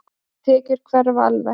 Þær tekjur hverfa alveg.